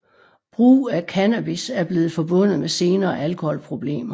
Brug af cannabis er blevet forbundet med senere alkoholproblemer